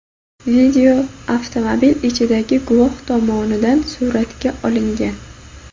Video avtomobil ichidagi guvoh tomonidan suratga olingan.